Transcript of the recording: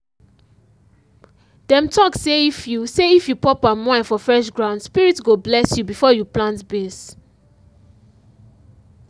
dem talk say if you say if you pour palm wine for fresh ground spirit go bless you before you plant beans.